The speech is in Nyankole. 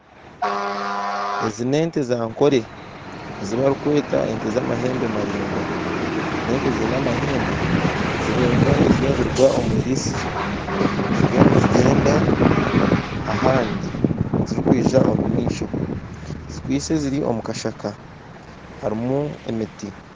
Ezi n'ente zankore ezibarikwata ente z'amahembe maringwa n'ente z'amahembe ziri nkezirikuruga omwirisizo ziriyo nizigyenda ahandi zirikwija omumaisho zikwaitsye ziri omukashaka harimu emiti